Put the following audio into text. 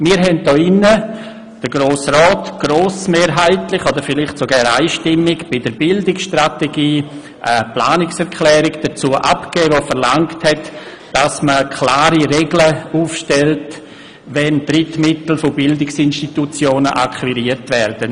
Wir haben hier im Rat bei der Beratung der Bildungsstrategie grossmehrheitlich oder vielleicht sogar einstimmig eine Planungserklärung dazu abgegeben, welche verlangte, es müssten klare Regeln aufgestellt werden, wenn Drittmittel von Bildungsinstitutionen akquiriert werden.